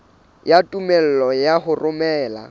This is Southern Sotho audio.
ya tumello ya ho romela